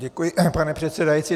Děkuji, pane předsedající.